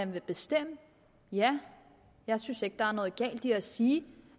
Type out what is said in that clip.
med at bestemme ja jeg synes ikke der er noget galt i at sige